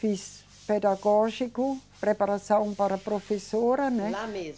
Fiz pedagógico, preparação para professora, né? Lá mesmo